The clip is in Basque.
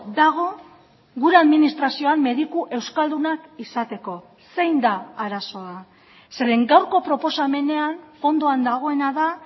dago gure administrazioan mediku euskaldunak izateko zein da arazoa zeren gaurko proposamenean fondoan dagoena da